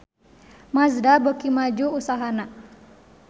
Mazda beuki maju usahana